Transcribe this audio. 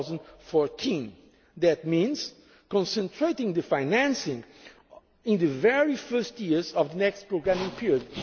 start of 2014. That means concentrating the financing in the very first years of the next programming